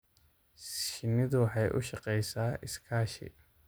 Shinnidu waxay u shaqeysaa iskaashi.